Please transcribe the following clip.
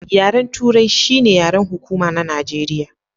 Yaren turai shi ne yaren hukuma na Najeriya.